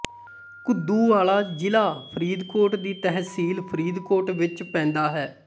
ਘੁੱਦੂ ਵਾਲਾ ਜ਼ਿਲ੍ਹਾ ਫਰੀਦਕੋਟ ਦੀ ਤਹਿਸੀਲ ਫਰੀਦਕੋਟ ਵਿੱਚ ਪੈਂਦਾ ਹੈ